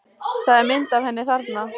Það er mynd af henni þarna.